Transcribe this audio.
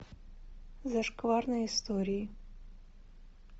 зашкварные истории